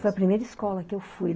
Foi a primeira escola que eu fui.